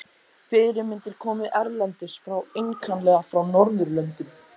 Fyrirmyndir komu erlendis frá, einkanlega frá Norðurlöndum.